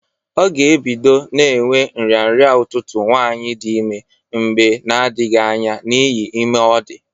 Ọ ga- ebido na-enwe nrịnrịa ụtụtụ nwaanyị dị ime mgbe na-adghị anya n'ihi ime ọ dị.